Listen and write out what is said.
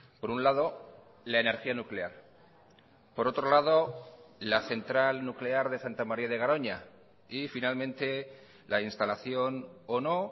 por un lado la energía nuclear por otro lado la central nuclear de santa maría de garoña y finalmente la instalación o no